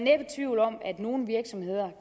nogle virksomheder